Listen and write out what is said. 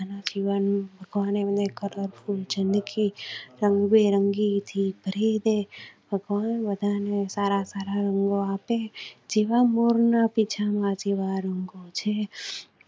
રંગબેરંગી થી ભરી દે. ભગવાન બધા ને સારા સારા રંગો આપે. જેવા મોર ના પીછા માં